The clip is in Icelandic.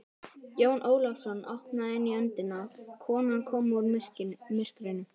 Jón Ólafsson opnaði inn í öndina, kona kom úr myrkrinu.